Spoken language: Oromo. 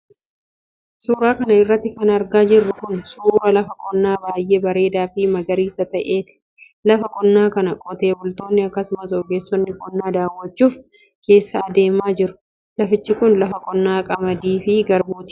Suura kana irratti kan argaa jirru kun, suura lafa qonnaa baay'ee bareedaa fi magariisa ta'eeti. Lafa qonnaa kana, qotee bultoonni akkasumas ogeessonni qonnaa daawwachuuf keessa adeemaa jiru. Lafichi kun, lafa qonnaa qamadii fi garbuuti.